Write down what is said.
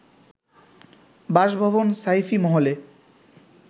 বাসভবন সাইফি মহলে